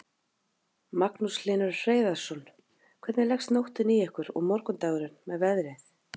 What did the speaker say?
Magnús Hlynur Hreiðarsson: Hvernig leggst nóttin í ykkur og morgundagurinn með veðrið?